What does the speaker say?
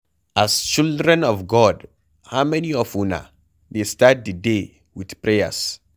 As children of God, how many of una dey start the day with prayers?